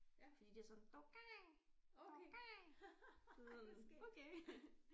Fordi de er sådan tokay tokay sådan okay